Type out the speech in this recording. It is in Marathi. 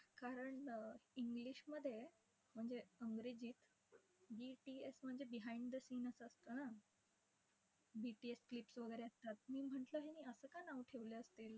कारण अं english मध्ये, म्हणजे मध्ये BTS म्हणजे behind the scene असं असतं ना. BTS clicks वगैरे असतात. मी म्हटलं यांनी असं का नाव ठेवलं आहे?